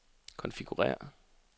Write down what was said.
konfigurér